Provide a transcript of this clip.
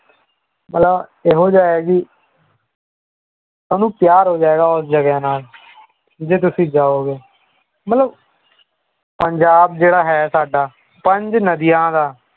ਮਤਲਬ ਇਹੋ ਜਿਹਾ ਹੈ ਕਿ ਤੁਹਾਨੂੰ ਪਿਆਰ ਹੋ ਜਾਏਗਾ ਉਸ ਜਗ੍ਹਾ ਦੇ ਨਾਲ ਜੇ ਤੁਸੀਂ ਜਾਓਗੇ ਮਤਲਬ ਪੰਜਾਬ ਜਿਹੜਾ ਹੈ ਸਾਡਾ ਪੰਜ ਨਦੀਆ ਦਾ